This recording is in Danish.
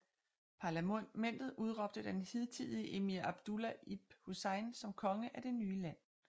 Parlamentet udråbte den hidtidige emir Abdullah ibn Hussein som konge af det nye land